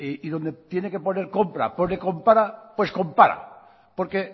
y donde tiene que poner compra pone compara pues compara porque